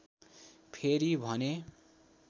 फेरि भने